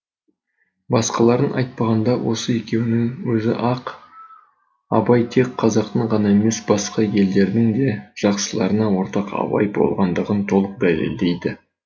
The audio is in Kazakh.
басқаларын айтпағанда осы екеуінің өзі ақ абай тек қазақтың ғана емес басқа елдердің де жақсыларына ортақ абай болғандығын толық дәлелдейді